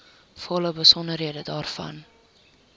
volle besonderhede daarvan